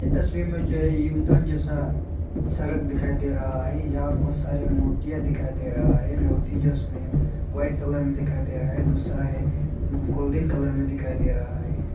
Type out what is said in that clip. इस तस्वीर में जे यूतन जैसा सरक दिखाई दे रहा है यहां बहुत सारी मूर्तियां दिखाई दे रहा है मूर्ति जो है इसमें वाइट कलर में दिखाई दे रहा है दूसरा है गोल्डन कलर में दिखाई दे रहा है।